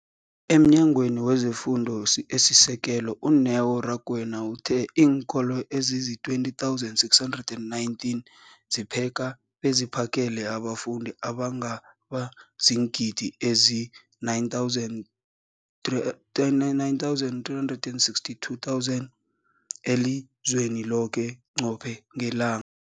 EmNyangweni wezeFundo esiSekelo, u-Neo Rakwena, uthe iinkolo ezizi-20 619 zipheka beziphakele abafundi abangaba ziingidi ezili-9 032 622 elizweni loke qobe ngelanga.